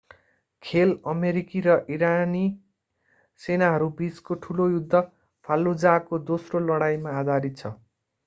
खेल अमेरिकी र इराकी सेनाहरूबीचको ठुलो युद्ध fallujah को दोस्रो लडाईमा आधारित छ